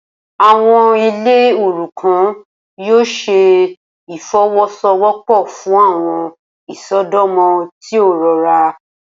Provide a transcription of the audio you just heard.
Awọn ile orukan yoo ṣe ifowosowopo fun awọn isọdọmọ ti o rọra.